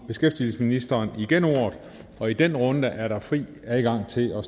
beskæftigelsesministeren igen ordet og i den runde er der fri adgang til at